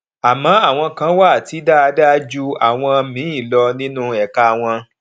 àmọ àwọn kan wà tí dáadáa ju àwọn míì lọ nínú ẹka wọn